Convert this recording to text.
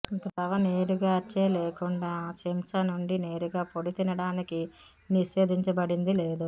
ద్రవ నీరుగార్చే లేకుండా చెంచా నుండి నేరుగా పొడి తినడానికి నిషేధించబడింది లేదు